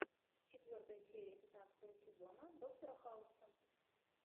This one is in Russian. четвертая серия пятнадцатого сезона доктора хауса